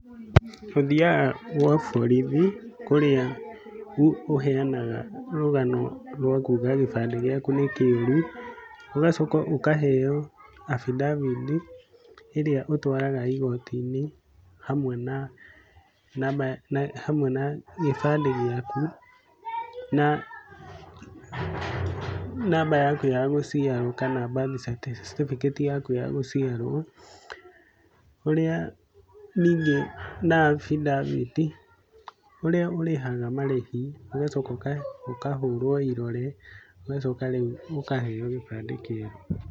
Ũthiaga gwa borithi kũrĩa ũheanaga rũgano rwa kuga gĩbandĩ gĩaku nĩ kĩũru, ũgacoka ũkaheo affidavit ĩrĩa ũtwaraga igoti-inĩ hamwe na namba, hamwe na gĩbandĩ gĩaku na namba yaku ya gũciarwo kana birth certificate yaku ya gũciarwo ũrĩa ningĩ na affidavit, ũrĩa ũrĩhaga marĩhi, ũgacoka ũkahũrwo irore, ũgacoka rĩu ũkaheo gĩbandĩ kĩerũ.